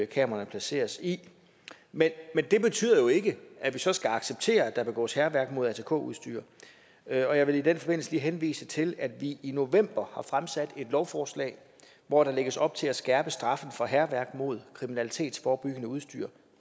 kameraerne placeres i men det betyder jo ikke at vi så skal acceptere at der begås hærværk mod atk udstyr og jeg vil i den forbindelse lige henvise til at vi i november har fremsat et lovforslag hvor der lægges op til at skærpe straffen for hærværk mod kriminalitetsforebyggende udstyr